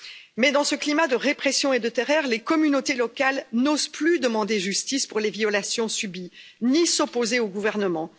Mais dans ce climat de répression et de terreur, les communautés locales n'osent plus demander justice pour les violations subies, ni s'opposer au gouvernement.